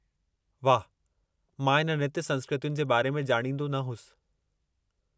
वाह, मां इन नृत्य संस्कृतियुनि जे बारे में ॾाणींदो न होसि।